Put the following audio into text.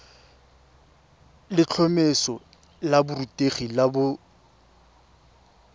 letlhomeso la borutegi la boset